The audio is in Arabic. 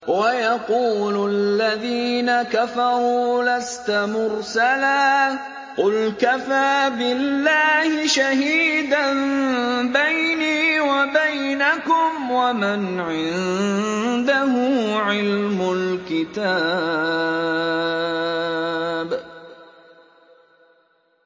وَيَقُولُ الَّذِينَ كَفَرُوا لَسْتَ مُرْسَلًا ۚ قُلْ كَفَىٰ بِاللَّهِ شَهِيدًا بَيْنِي وَبَيْنَكُمْ وَمَنْ عِندَهُ عِلْمُ الْكِتَابِ